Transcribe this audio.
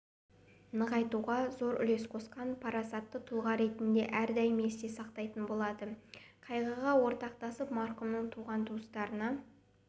нығайтуға зор үлес қосқан парасатты тұлға ретінде әрдайым есте сақтайтын болады қайғыға ортақтасып марқұмның туған-туыстарына